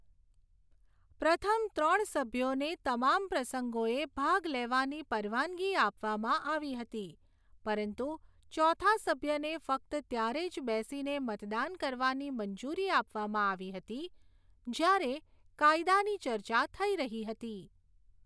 પ્રથમ ત્રણ સભ્યોને તમામ પ્રસંગોએ ભાગ લેવાની પરવાનગી આપવામાં આવી હતી, પરંતુ ચોથા સભ્યને ફક્ત ત્યારે જ બેસીને મતદાન કરવાની મંજૂરી આપવામાં આવી હતી જ્યારે કાયદાની ચર્ચા થઈ રહી હતી.